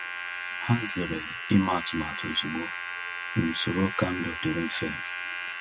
Ha zere ime atụmatụ ozugbo n’usoro ka ndụ dịrị mfe.